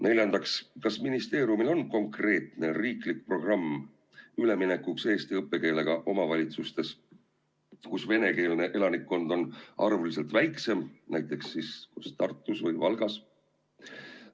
Neljandaks, kas ministeeriumil on konkreetne riiklik programm üleminekuks eesti õppekeelele omavalitsustes, kus venekeelne elanikkond on arvuliselt väiksem, näiteks Tartus või Valgas?